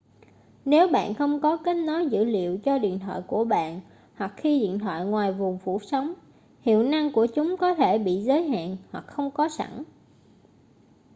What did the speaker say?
nếu bạn không có kết nối dữ liệu cho điện thoại của bạn hoặc khi điện thoại ngoài vùng phủ sóng hiệu năng của chúng có thể bị giới hạn hoặc không có sẵn